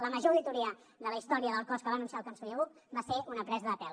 la major auditoria de la història del cos que va anunciar el conseller buch va ser una presa de pèl